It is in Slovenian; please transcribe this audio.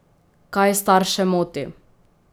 Kaj starše moti?